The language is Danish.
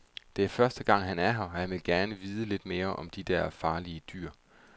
Det er første gang, han er her, og han vil gerne vide lidt mere om de der farlige dyr.